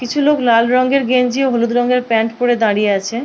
কিছু লোক লাল রঙের গেঞ্জি ও হলুদ রঙের প্যান্ট পরে দাঁড়িয়ে আছে--